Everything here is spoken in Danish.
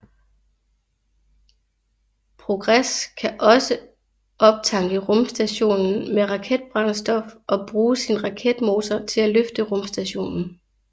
Progress kan også optanke rumstationen med raketbrændstof og bruge sin raketmotor til at løfte rumstationen